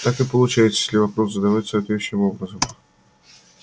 так и получается если вопрос задавать соответствующим образом